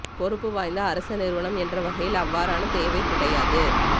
பொறுப்பு வாய்ந்த அரச நிறுவனம் என்ற வகையில் அவ்வாறான தேவை கிடையாது